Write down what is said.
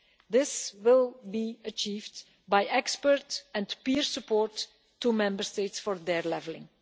This will be achieved by expert and peer support to Member States for their levelling.